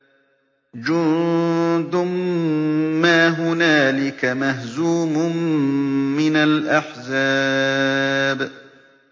جُندٌ مَّا هُنَالِكَ مَهْزُومٌ مِّنَ الْأَحْزَابِ